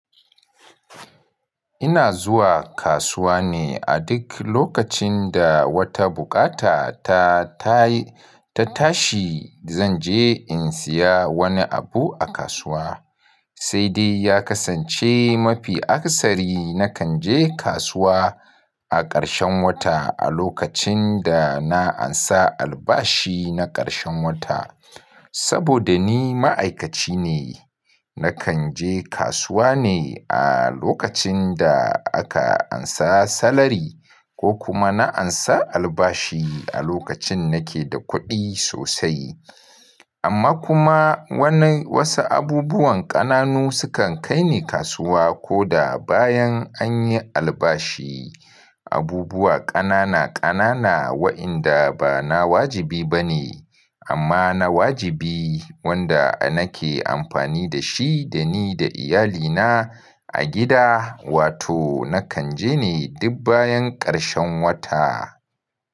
Ina zuwa kasuwa ne a duk lokacin da wata bukata ta tashi. Zan je in siya wani abu a kasuwa, sai dai ya kasance mafi aksari. Nakan je kasuwa a ƙarshen wata a lokacin da na ansa albashi na ƙarshen wata. Saboda ni ma'aikaci ne, nakan je kasuwa ne a lokacin da aka ansa salari ko kuma na ansa albashi a lokacin nake da kuɗi sosai. Amma kuma wasu abubuwan ƙananu sukan kai ni kasuwa ko da bayan an yi albashi. Abubuwa ƙanana ƙanana wa'inda ba na wajibi ba ne amma na wajibi wanda nake amfani da shi da ni da iyalina a gida. Wato nakan je ne duk bayan ƙarshen wata.